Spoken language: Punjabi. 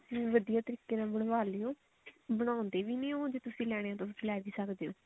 ਜਿਵੇਂ ਵਧੀਆ ਤਰੀਕੇ ਨਾਲ ਬਣਵਾ ਲਿਓ ਬਣਾਉਂਦੇ ਵੀ ਉਹ ਜੇ ਤੁਸੀਂ ਲੈਣੇ ਆ ਤਾਂ ਲੈ ਵੀ ਸਕਦੇ ਹੋ ਤੁਸੀਂ